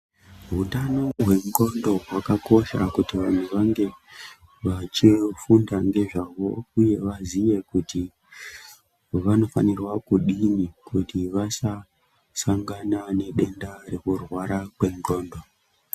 Hutano hwendxondo hwakakosha kuti vanhtu vange vachifunda ngezvahwo. Uye vaziye kuti vanofanirwa kudini kuti vasasangana nedenda rekurwara kwendxondo.